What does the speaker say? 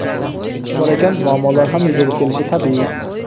Ish bor ekan, muammolar ham yuzaga kelishi tabiiy.